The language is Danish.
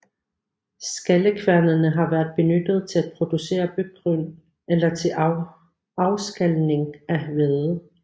Skallekværnene har været benyttet til at producere byggryn eller til afskalning af hvede